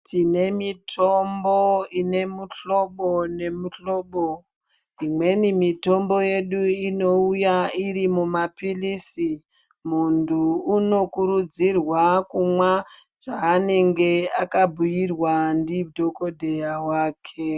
Tinemitombo inemihlobo , nemihlobo. Imweni mitombo yedu inouya irimumaphilisi. Muntu unokurudzirwa kumwa zvanenge akabuyirwa ndidhokodheya wake.